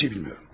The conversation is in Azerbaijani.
Heç nə bilmirəm.